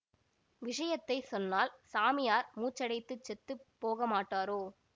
விஷயத்தை சொன்னால் சாமியார் மூச்சடைத்துச் செத்து போகமாட்டாரோ